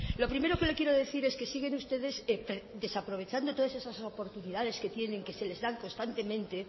lo primero que le quiero decir es que siguen ustedes desaprovechando todas esas oportunidades que tienen que se les dan constantemente